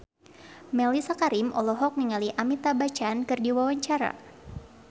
Mellisa Karim olohok ningali Amitabh Bachchan keur diwawancara